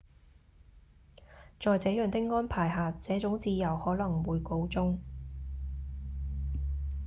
在這樣的安排下這種自由可能會告終